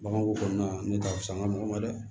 Baganko kɔnɔna na ne t'a fisa n ka mɔgɔ ma dɛ